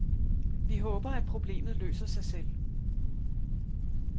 Vi håber, at problemet løser sig selv.